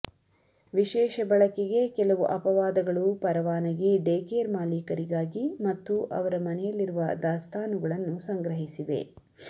ವಿಶೇಷ ಬಳಕೆಗೆ ಕೆಲವು ಅಪವಾದಗಳು ಪರವಾನಗಿ ಡೇಕೇರ್ ಮಾಲೀಕರಿಗಾಗಿ ಮತ್ತು ಅವರ ಮನೆಯಲ್ಲಿರುವ ದಾಸ್ತಾನುಗಳನ್ನು ಸಂಗ್ರಹಿಸಿವೆ